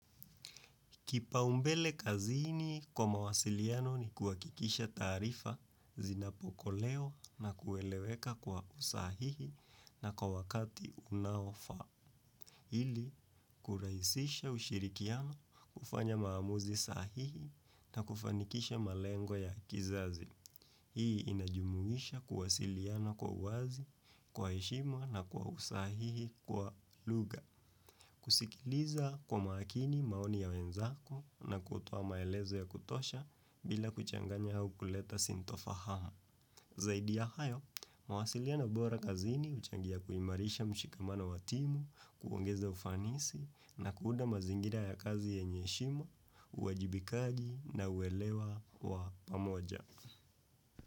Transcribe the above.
Kipaumbele kazini kwa mawasiliano ni kuhakikisha taarifa zinapokelewa na kueleweka kwa usahihi na kwa wakati unaofaa. Ili kurahisisha ushirikiano kufanya maamuzi sahihi na kufanikisha malengo ya kizazi. Hii inajumuisha kuwausiliano kwa uwazi, kwa heshimwa na kwa usahihi kwa lugha. Kusikiliza kwa makini maoni ya wenzako na kutoa maelezo ya kutosha bila kuchanganya au kuleta sintofahama. Zaidi ya hayo, mawasiliano bora kazini huchangia kuimarisha mshikamano wa timu, kuongeza ufanisi na kuunda mazingira ya kazi yenye heshima, uajibikaji na uelewa wa pamoja.